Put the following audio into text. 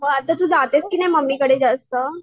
हो आता तू जातेस कि नाही मम्मीकडे जास्त?